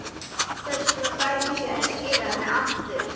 Þess vegna bæri sér að skila henni aftur.